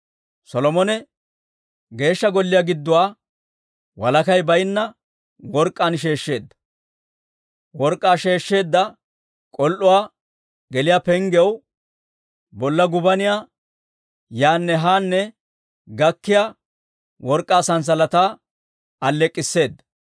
Solomone Geeshsha Golliyaa gidduwaa walakay baynna work'k'aan sheeshsheedda; work'k'aa sheeshsheedda k'ol"uwaa geliyaa penggiyaw bolla gubaniyaa yaanne haanne gakkiyaa work'k'aa sanssalataa alleek'k'isseeda.